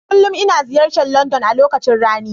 Kullum ina ziyartar London a lokacin rani.